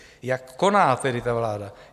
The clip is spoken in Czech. Jak koná tedy ta vláda?